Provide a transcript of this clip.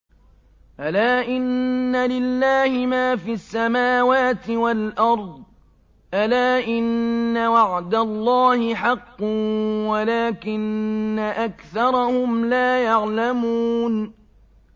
أَلَا إِنَّ لِلَّهِ مَا فِي السَّمَاوَاتِ وَالْأَرْضِ ۗ أَلَا إِنَّ وَعْدَ اللَّهِ حَقٌّ وَلَٰكِنَّ أَكْثَرَهُمْ لَا يَعْلَمُونَ